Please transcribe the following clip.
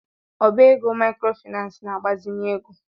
Ọbá égo maịkrofaịnans na-agbazinye ego.